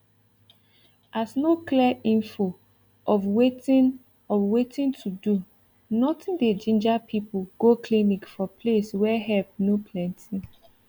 as no clear info of watin of watin to do nothing dey ginger people from go clinic for place wey help no plenty